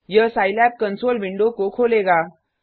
यह Scilab console window को खोलेगा